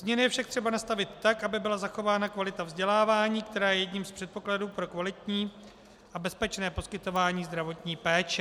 Změny je však potřeba nastavit tak, aby byla zachována kvalita vzdělávání, která je jedním z předpokladů pro kvalitní a bezpečné poskytování zdravotní péče.